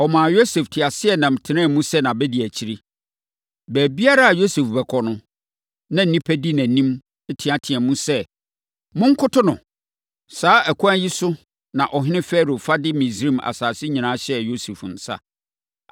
Ɔmaa Yosef teaseɛnam tenaa mu sɛ nʼabadiakyire. Baabiara a Yosef bɛkɔ no, na nnipa di nʼanim teateaam sɛ, “monkoto no!” Saa ɛkwan yi so na ɔhene Farao fa de Misraim asase nyinaa hyɛɛ Yosef nsa.